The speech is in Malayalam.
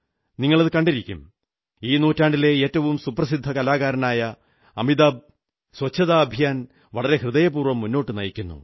നിങ്ങൾ കണ്ടിരിക്കും ഈ നൂറ്റാണ്ടിലെ ഏറ്റവും സുപ്രസിദ്ധ കലാകാരനായ അമിതാഭ് ശുചിത്വ യജ്ഞം വളരെ ഹൃദയപൂർവ്വം മുന്നോട്ടു നയിക്കുന്നു